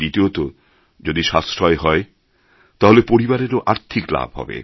দ্বিতীয়তঃ যদি সাশ্রয় হয় তাহলে পরিবারেরও আর্থিক লাভ হবে